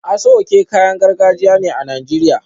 Aso oke kayan gargajiya ne a Najeriya